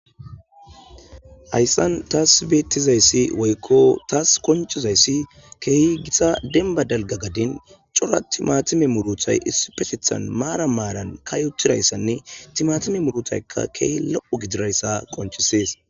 hayssan taas beettizayssi woykko taas koncizayssi keehi gisa denba dalga gadin cora timatime muruthay isipesethan maara maaran kayotirayssanne timatime murutaykka keehi lo7o gidirayssa qonchisees